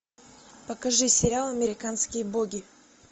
покажи сериал американские боги